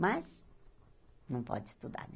Mas não pode estudar, né?